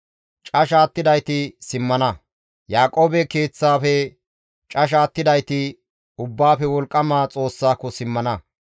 Casha attidayti simmana; Yaaqoobe keeththafe casha attidayti Ubbaafe Wolqqama Xoossaako simmana.